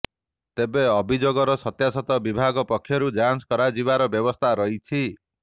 ତେବେ ଅଭିଯୋଗର ସତ୍ୟାସତ୍ୟ ବିଭାଗ ପକ୍ଷରୁ ଯାଞ୍ଚ କରାଯିବାର ବ୍ୟବସ୍ଥା ରହିଛି